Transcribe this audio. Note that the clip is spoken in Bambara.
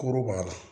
Koro b'a la